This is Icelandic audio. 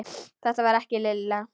Þetta var ekki Lilla.